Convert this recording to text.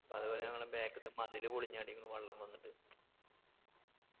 പ്പൊ അതുപോലെ ഞങ്ങടെ back ത്തെ മതില് പൊളിഞ്ഞാടിക്കുന്നു വെള്ളം വന്നിട്ട്